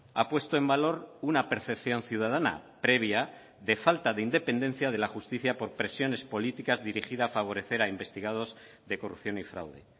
ha puesto en valor una percepción ciudadana previa de falta de independencia de la justicia por presiones políticas dirigida a favorecer a investigados de corrupción y fraude